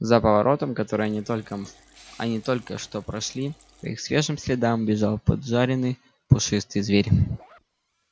за поворотом который они только они только что прошли по их свежим следам бежал поджаренный пушистый зверь